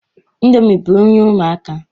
Ndomi bu nri ụmụaka